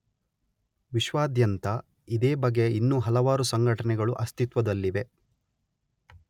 ವಿಶ್ವಾದ್ಯಂತ ಇದೇ ಬಗೆಯ ಇನ್ನೂ ಹಲವಾರು ಸಂಘಟನೆಗಳು ಅಸ್ತಿತ್ವದಲ್ಲಿವೆ.